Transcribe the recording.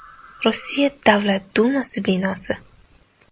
Rossiya Davlat Dumasi binosi.